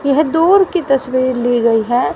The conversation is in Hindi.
यह दूर की तस्वीर ली गई है।